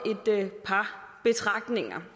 par betragtninger